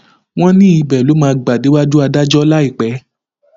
wọn ní ibẹ ló máa máa gbà déwájú adájọ láìpẹ